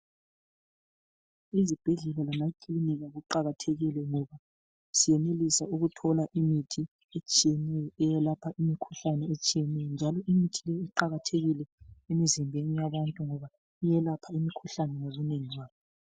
Izibhedlela lamakilinika kuqakathekile ngoba siyenelisa ukuthola imithi etshiyeneyo eyelapha imikhuhlane etshiyeneyo, njalo imithi le iqakathekile imizimbeni yabantu ngoba iyelapha imikhuhlane ngobunengi bayo.